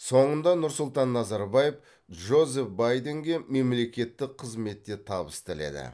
соңында нұрсұлтан назарбаев джозеф байденге мемлекеттік қызметте табыс тіледі